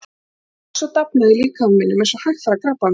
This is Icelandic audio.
En hún óx og dafnaði í líkama mínum eins og hægfara krabbamein.